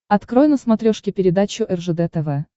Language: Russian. открой на смотрешке передачу ржд тв